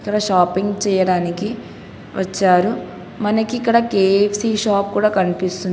తన షాపింగ్ చేయడానికి వచ్చారు మనకిక్కడ కె_ఎఫ్_సి కనిపిస్తుంది.